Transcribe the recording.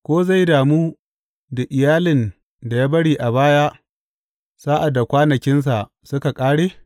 Ko zai damu da iyalin da ya bari a baya sa’ad da kwanakinsa suka ƙare?